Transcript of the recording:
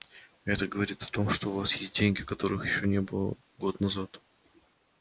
это говорит о том что у вас есть деньги которых ещё не было год назад